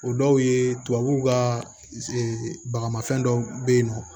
O dɔw ye tubabuw ka bagafɛn dɔw be yen nɔ